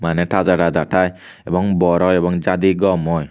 maneh taja taja thai ebong bor oi ebong jadi gom oi.